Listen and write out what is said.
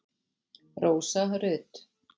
Rósa Rut.